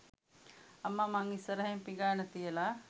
අම්මා මං ඉස්සරහින් පිඟාන තියලා